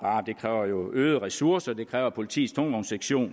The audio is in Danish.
øgede ressourcer det kræver at politiets tungvognssektion